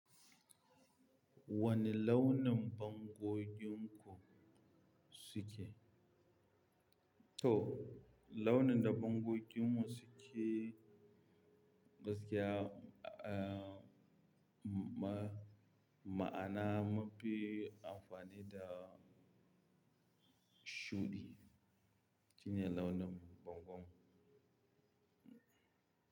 Wane launin bangoginku suke? To, launin da bangoginmu suke gaskiya, eh, ma-ma'ana munfi amfani da shuɗi. Shine launin bangonmu.